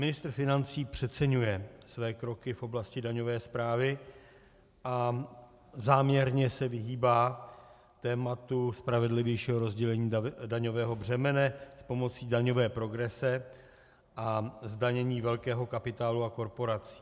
Ministr financí přeceňuje své kroky v oblasti daňové správy a záměrně se vyhýbá tématu spravedlivějšího rozdělení daňového břemene s pomocí daňové progrese a zdanění velkého kapitálu a korporací.